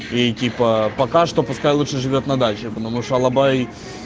и типа пока что пускай лучше живёт на даче потому что алабай